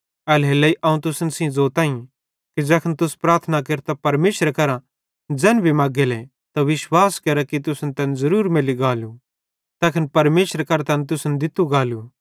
एल्हेरेलेइ अवं तुसन सेइं ज़ोतईं कि ज़ैखन तुस प्रार्थना केरतां परमेशरे केरां ज़ैन भी मगेले त विश्वास केरा कि तुसन तैन ज़रूर मैल्ली गालू तैखन परमेशरे केरां तैन तुसन दित्तू गालू